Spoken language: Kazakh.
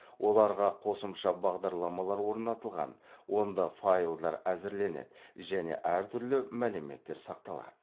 оларға ұосымша бағдарламалар орнатылған онда файлдар әзірленеді және әр түрлі мәліметтер сақталады